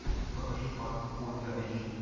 покажи пакт ультра эйч ди